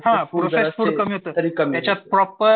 हां processed food कमी होतंय त्याच्यात प्रॉपर